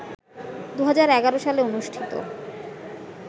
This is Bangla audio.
২০১১ সালে অনুষ্ঠিত